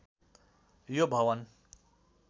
यो भवन